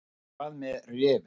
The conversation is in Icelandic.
En hvað með refinn.